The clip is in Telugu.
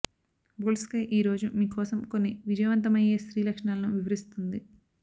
బోల్డ్ స్కై ఈరోజు మీకోసం కొన్ని విజయవంతమయ్యే స్త్రీ లక్షణాలను వివరిస్తుంది